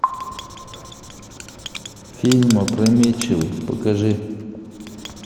фильм опрометчивый покажи